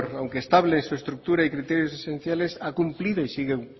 aunque estable en su estructura y criterios esenciales ha cumplido y sigue